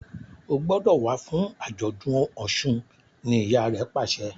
O gbódò wá fún ajọdun òsùn! ní ìyá rẹ pàṣẹ